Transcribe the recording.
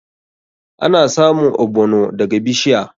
Ana samun ogbono daga bishiya.